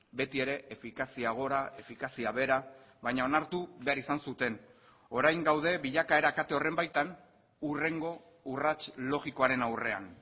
beti ere efikazia gora efikazia behera baina onartu behar izan zuten orain gaude bilakaera kate horren baitan hurrengo urrats logikoaren aurrean